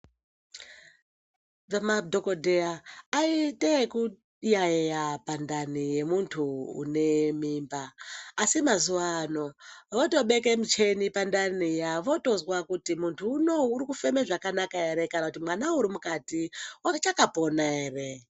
Madhokodheya aiite ekuyayeya pandani yemuntu unemimba asi mazuwaano votobeka michini pandani iya votozwa kuti muntu unou urikufema zvakanaka ere kana kuti mwana arimukati uchakapona ere.